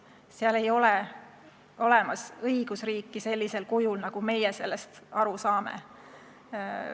Seal ei ole olemas õigusriiki sellisel kujul, nagu meie sellest aru saame.